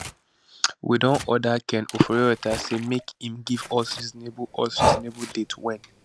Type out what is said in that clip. we don order ken oforiatta say make im give us reasonable us reasonable date wen